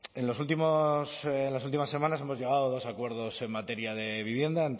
en los últimos en las últimas semanas hemos llegado a dos acuerdos en materia de vivienda